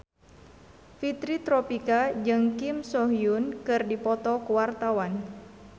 Fitri Tropika jeung Kim So Hyun keur dipoto ku wartawan